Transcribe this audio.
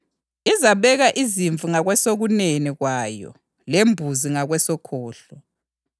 Zonke izizwe zizabuthaniswa phambi kwayo, ibe isisahlukanisa abantu omunye komunye njengomelusi esehlukanisa izimvu embuzini.